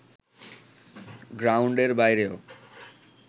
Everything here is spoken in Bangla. গ্রাউন্ডের বাইরেও